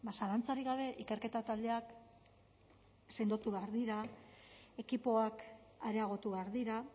zalantzarik gabe ikerketa taldeak sendotu behar dira ekipoak areagotu behar dira